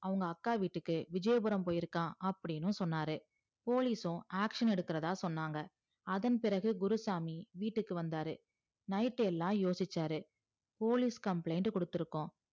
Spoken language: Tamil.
அவங்க அக்கா வீட்டுக்கு விஜயபுரம் போயிருக்கா அப்டின்னு சொன்னாரு police யும் action எடுக்கறதா சொன்னாங்க அதன் பிறகு குருசாமி வீட்டுக்கு வந்தாரு night எல்லாம் யோசிச்சாரு police complaint குடுத்துருக்கோம்